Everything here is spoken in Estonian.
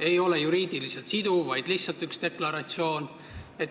ei ole juriidiliselt siduv, see on lihtsalt üks deklaratsioon.